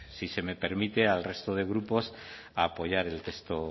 si se me permite al resto de grupos a apoyar el texto